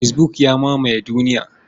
Fesbuk ya mamaye duniya.